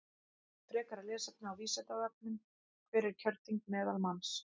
Frekara lesefni á Vísindavefnum Hver er kjörþyngd meðalmanns?